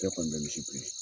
Ce kɔni bɛ misi biri.